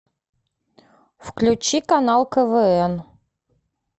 включи канал квн